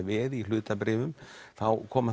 veð í hlutabréfum þá koma